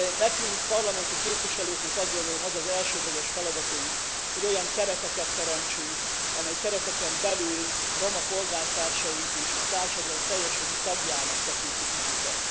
Nekünk, parlamenti képviselőknek azt gondolom az az elsődleges feladatunk, hogy olyan kereteket teremtsünk, amely kereteken belül roma polgártársaink is a társadalom teljes jogú tagjának tekintik magukat.